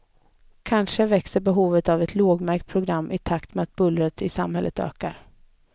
Kanske växer behovet av ett lågmält program i takt med att bullret i samhället ökar.